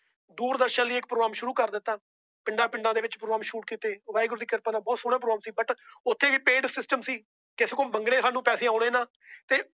ਦੂਰਦਰਸ਼ਨ ਲਈ ਇੱਕ Prome ਸ਼ੁਰੂ ਕਰ ਦਿੱਤਾ। ਪਿੰਡਾਂ ਪਿੰਡਾਂ ਦੇ ਵਿੱਚ ਬਠਿੰਡੇ ਸ਼ੁਰੂ ਕੀਤੇ। ਵਾਹਿਗੁਰੂ ਦੀ ਕਿਰਪਾ ਨਾਲ ਬਹੁਤ ਬਹੁਤ ਸੋਹਣਾ ਬਠਿੰਡੇ ਸੀ। ਪਰ ਉੱਥੇ ਵੀ PAID SYSTEM ਸੀ। ਕਿਸੇ ਕੋਲੋਂ ਮੰਗੇ ਸਾਨੂੰ ਪੈਸੇ ਆਉਣੇ ਨਾ।